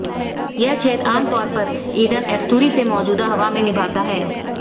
यह छेद आम तौर पर ईडन एस्टूरी से मौजूदा हवा में निभाता है